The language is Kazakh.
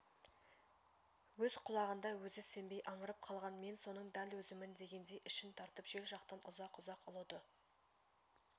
өз құлағына өзі сенбей аңырып қалған мен соның дәл өзімін дегендей ішін тартып жел жақтан ұзақ-ұзақ ұлыды